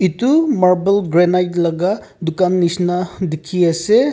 etu marble granite laka dukan neshina dekhi ase.